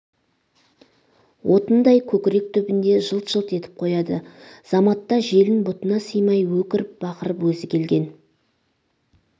отындай көкірек түбінде жылт-жылт етіп қояды заматта желін бұтына сыймай өкіріп-бақырып өзі келген